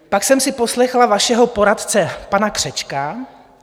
Pak jsem si poslechla vašeho poradce pana Křečka.